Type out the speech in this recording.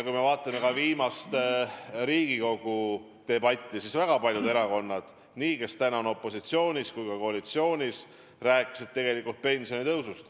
Kui me vaatame Riigikogu viimaseid debatte, siis väga paljud erakonnad – nii opositsioonist kui ka koalitsioonist – on rääkinud pensionitõusust.